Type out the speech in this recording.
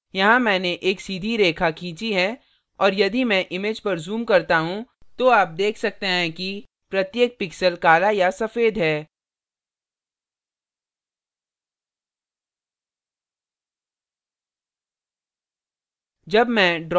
यहाँ मैंने एक सीधी रेखा खींची है और यदि मैं image पर zoom करता हूँ तो आप देख सकते हैं कि प्रत्येक pixel काला या सफ़ेद है